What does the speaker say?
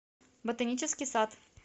ботанический сад